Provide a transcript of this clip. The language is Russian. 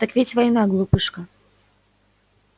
так ведь война глупышка